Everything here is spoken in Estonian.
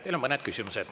Teile on mõned küsimused.